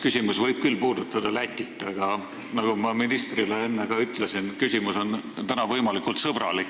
Küsimus võib küll puudutada Lätit, aga nagu ma ministrile enne ka ütlesin, küsimus on täna võimalikult sõbralik.